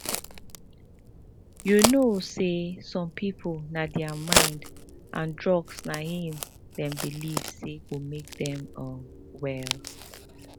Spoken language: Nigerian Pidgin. you know say some people na thier mind and drugs na him them believe say go make them um well